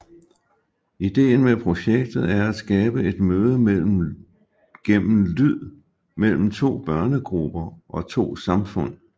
Ideen med projektet er at skabe et møde gennem lyd mellem to børnegrupper og to samfund